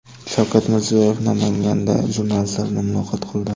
Shavkat Mirziyoyev Namanganda jurnalistlar bilan muloqot qildi.